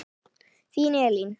Þín Elín.